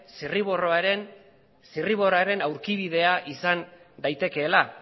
zirriborroaren zirriborroaren aurkibidea izan daitekeela